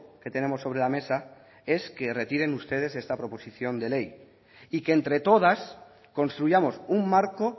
que tenemos sobre la mesa es que retiren ustedes esta proposición de ley y que entre todas construyamos un marco